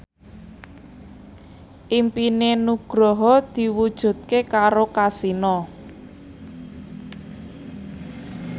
impine Nugroho diwujudke karo Kasino